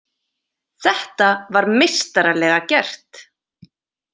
Þetta var meistaralega gert.